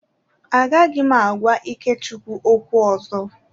Agaghị m agwa Ikechukwu okwu ọzọ.